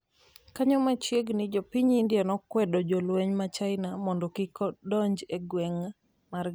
kanyo machiegni jopiny India nenokwedo jolweny ma China mondo kik donj e gwenge margi.